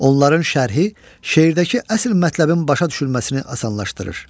Onların şərhi şeirdəki əsl mətləbin başa düşülməsini asanlaşdırır.